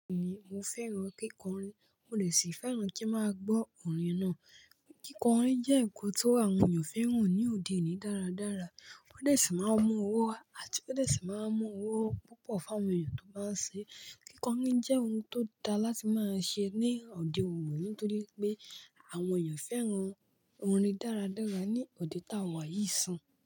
Bẹ́ẹ̀ni, mo fẹ́ràn kíkọrin, mo dè ṣì fẹ́ràn kí máa gbọ́ orin náà. Kíkọrin jẹ́ nkọ́n tó àwọn èèyàn fẹ́ràn ní òde òní dáradára. Wọ́n dè ṣì máa mú owó wá àti pé ó dè ṣì máa mú owó púpọ̀ fún àwọn èèyàn tó báa ń ṣe é. Kíkọrin jẹ́ ohun tó dáa láti máa ṣe ní òde òní nítorí wipé àwọn èèyàn fẹ́ràn orin dáradára ní òde tá a wà yìí n sin.